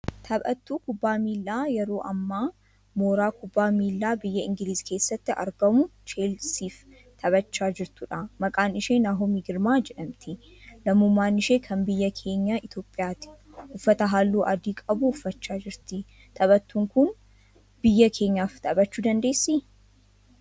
Taphattuu kubbaa miilaa yeroo hammaa mooraa kubbaa miilaa biyya Ingilizii keessatti argamuu 'Chelsiif' taphachaa jirtuudha. Maqaan ishee Naahomii Girmaa jedhamti. Lammummaan ishee kan biyya keenya Itiyoopiyaati. uffata halluu adii qabu uffachaa jirti. Taphattun kun biyya keenyaaf taphachuu dandeessii?